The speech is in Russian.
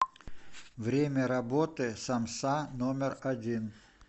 время работы самса номер один